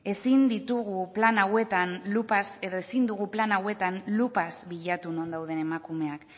ezin ditugu plan hauetan lupaz edo ezin dugu plan hauetan lupaz bilatu non dauden emakumeak